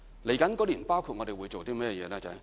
接下來的1年我們會做甚麼呢？